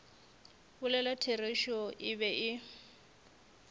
bolela therešo e be e